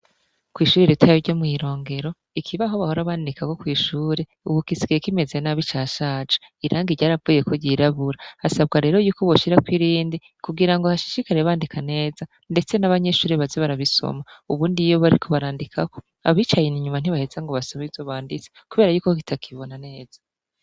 Kw'ishure ritoya ryo mw'iromgero ikibaho bahora bandikako co mw'ishure ubu gisigaye kimeze nabi cashaje irangi ryaravuyeko ryirabura hasabwa rero yuko boshirako irindi kugira ngo bashishikare bandika neza ndetse n'abanyeshure baze barabisoma , ubundi iyo bariko barandikako abicaye inyuma ntibaheza ngo basome ivyo banditse kuko yuko kitakibona neza.